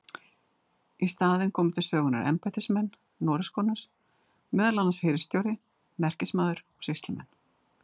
Í staðinn komu til sögunnar embættismenn Noregskonungs, meðal annars hirðstjóri, merkismaður og sýslumenn.